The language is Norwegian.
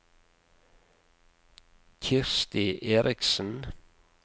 Kirsti Erichsen